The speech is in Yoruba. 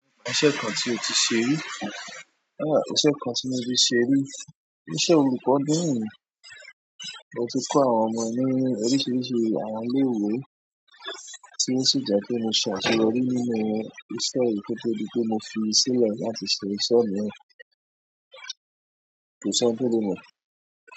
Iṣẹ́ kan tí o ti ṣe rí iṣẹ́ kan tí mo ti ṣerí, iṣẹ́ olùkọ́ náà ni, mo ti kọ́ àwọn ọmọ ní oríṣiríṣi àwọn ilé-ìwé tí ó sì jẹ́ pé mo ṣàṣeyọrí nínú iṣẹ́yi ko tó di pé mo fi sílẹ̀ láti ṣe ìṣe míràn, kò sí ẹni tó lè mo.